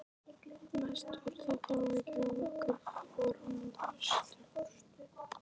Mest voru þetta áhyggjur af okkar formföstu